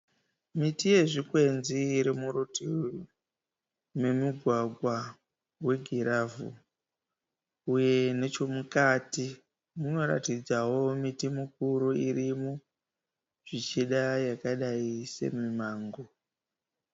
Miti yezvikwenzi iri murutivi memugwagwa wegiravhu uye nechemukati munoratidzawo miti mikuru irimo zvichida yakadayi semimango.